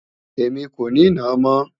Èmi kò ní nàá mọ́